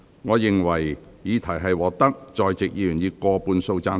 我認為議題獲得在席議員以過半數贊成。